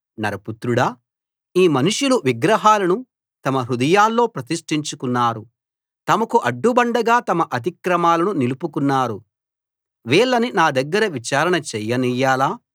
నరపుత్రుడా ఈ మనుషులు విగ్రహాలను తమ హృదయాల్లో ప్రతిష్టించుకున్నారు తమకు అడ్డుబండగా తమ అతిక్రమాలను నిలుపుకున్నారు వీళ్ళని నా దగ్గర విచారణ చేయనియ్యాలా